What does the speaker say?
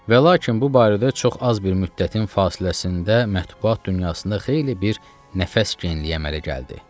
Və lakin bu barədə çox az bir müddətin fasiləsində mətbuaat dünyasında xeyli bir nəfəs genliyi əmələ gəldi.